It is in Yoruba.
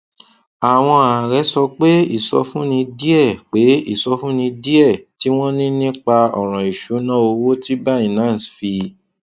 àwọn ààrẹ sọ pé ìsọfúnni díẹ pé ìsọfúnni díẹ tí wọn ní nípa ọràn ìṣúnná owó ti binance fi